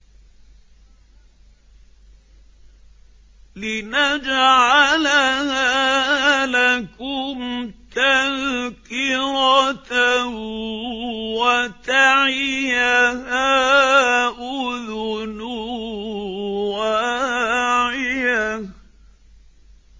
لِنَجْعَلَهَا لَكُمْ تَذْكِرَةً وَتَعِيَهَا أُذُنٌ وَاعِيَةٌ